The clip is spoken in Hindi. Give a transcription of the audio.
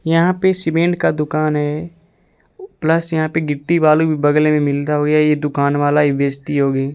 यहां पर सीमेंट का दुकान है। प्लस यहां पर गिट्टी वाली बगल में मिलता है। यह दुकान वाला ही बेचती होगी।